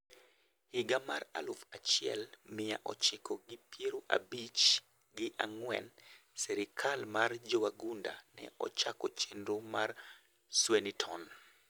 Higa mar aluf achiel mia ochiko gi pero abich gi ang'wen serkal mar jowagunda ne ochako chenro mar Swynnerton